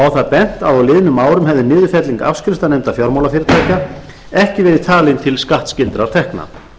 bent að á liðnum árum hefði niðurfelling afskriftanefnda fjármálafyrirtækja ekki verið talin til skattskyldra tekna